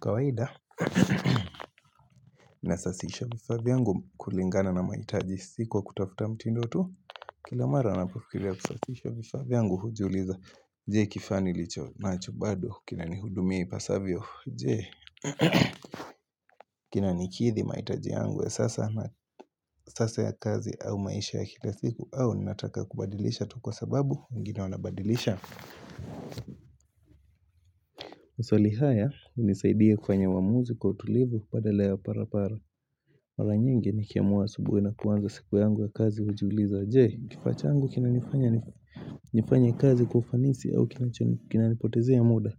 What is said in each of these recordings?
Kawaida, minasasisha vifavi yangu kulingana na maitaji siku wa kutafuta mtindotu. Kila mara napakiria kusasisha vifavi yangu hujuliza. Jee kifani licho na chubado. Kina ni hudumia ipasavyo. Jee. Kina nikithi maitaji yangu ya sasa na sasa ya kazi au maisha ya kila siku au nataka kubadilisha tu kwa sababu wengine wanabadilisha. Maswali haya unisaidia kufanya wamuzi kutulivu pada lea parapara Maranyenge nikiamuwa subuhi na kuanza siku yangu ya kazi ujiuliza Jee kifachangu kinanifanya kazi kufanisi au kinanipotezea muda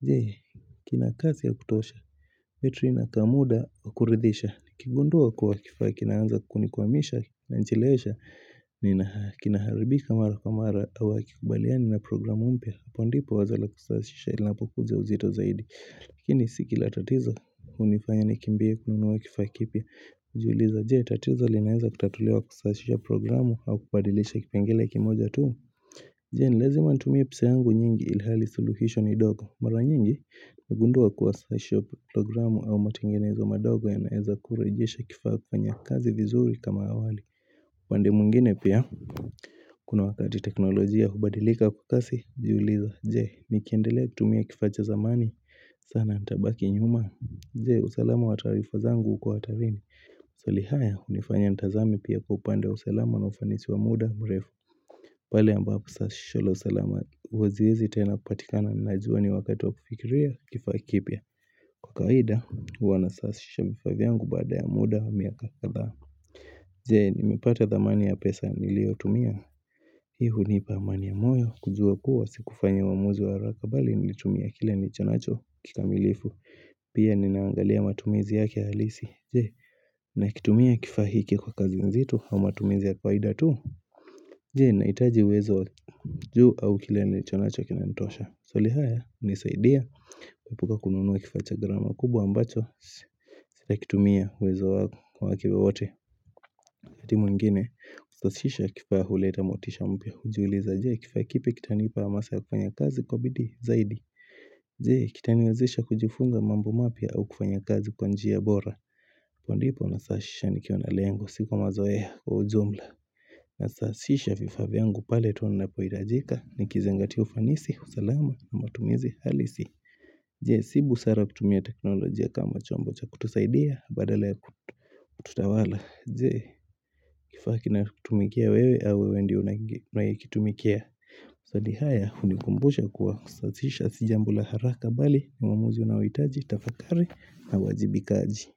Jee kina kazi ya kutosha Metri na kamuda ukuridisha Kigundua kwa kifaa kinanza kunikuwa misha na nchilesha Nina kinaharibika mara kumara awa kikubaliani na programu umpia Hapo ndipo wazala kusashisha ilanapokuza uzito zaidi Lakini sikila tatiza unifanya nikimbia kununuwa kifakipia Ujiuliza jie tatiza linaeza kutatulewa kusashisha programu au kubadilisha kipengele kimoja tu Jeni lezima ntumia pisa angu nyingi ilihali suluhisho ni doko Mara nyingi nagundua kuwasashisha programu au matenginezo madogo ya naeza kurejisha kifaka kwenye kazi vizuri kama awali Pandemungine pia Kuna wakati teknolojia hubadilika kukasi Ujiuliza jie nikiendelea kutumia kifatja zamani sana ntabaki nyuma jee usalama wa tarifazangu ukohatarini maswalihaya unifanya ntazami pia kupande usalama na ufanisi wa muda mrefu pale ambapo sasisholo usalama Waziezi tena kupatikana ninajua ni wakati wa kufikiria kifakipia Kwa kawaida wanasasishabifavyangu bada ya muda wa miaka katha jee nimipata zamani ya pesa nilio tumia Ihu nipa mani ya moyo kujua kuwa sikufanya wamuzi wa rakabali Nilitumia kile ni chonacho kikamilifu Pia ninaangalia matumizi yake halisi Jee na kitumia kifahiki kwa kazi nzitu au matumizi ya kwaida tu Jee Naitaji wezo juu au kile ni chonacho kinantosha maswali haya nisaidia Kupuka kununuwa kifacha grama kubwa ambacho Sita kitumia wezo wake wowote wakati mungine Ustosisha kifahuleta motisha mpia hujuliza Jee Kifahikipe kitani ipa masa ya kupanya kazi kwa bidi zaidi Jee, kitaniwezisha kujifunga mambu mapia au kufanya kazi kwa njiya bora Kwa ndipo nasashisha nikionale yangu sikuwa mazoea kwa ujumla Nasashisha vifavi yangu paletu unapoidajika Nikizengati ufanisi, usalama na matumizi halisi Jee, sibu sara kutumia teknolojia kama chombo cha kutusaidia badala ya tutawala Jee, kifaki na kutumikia wewe au wewe ndi unakitumikia Usali haya unikumbusha kwa usatisha sijambula haraka bali Mwamuzi unawitaji, tafakari na wajibikaji.